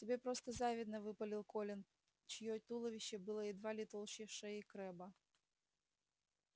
тебе просто завидно выпалил колин чьё туловище было едва ли толще шеи крэбба